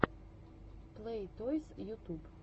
плэй тойс ютуб